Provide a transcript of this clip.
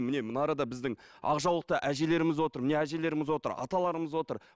міне мына арада біздің ақ жаулықты әжелеріміз отыр міне әжелеріміз отыр аталарымыз отыр